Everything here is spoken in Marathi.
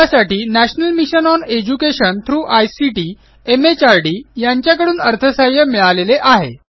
यासाठी national mission on education through ICT MHRD यांच्याकडून अर्थसहाय्य मिळालेले आहे